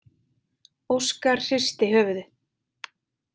Óskar hristi höfuðið.